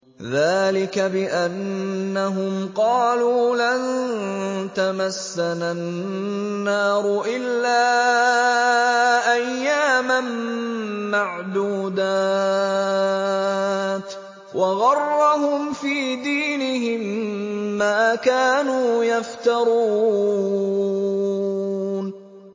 ذَٰلِكَ بِأَنَّهُمْ قَالُوا لَن تَمَسَّنَا النَّارُ إِلَّا أَيَّامًا مَّعْدُودَاتٍ ۖ وَغَرَّهُمْ فِي دِينِهِم مَّا كَانُوا يَفْتَرُونَ